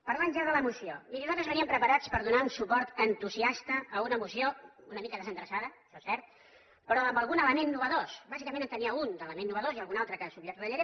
parlant ja de la moció miri nosaltres veníem preparats per donar un suport entusiasta a una moció una mica desendreçada això és cert però amb algun element nou bàsicament en tenia un d’element nou i algun altre que subratllaré